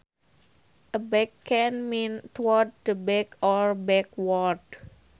Aback can mean toward the back or backward